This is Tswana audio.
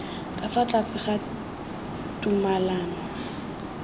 ka fa tlase ga tumalano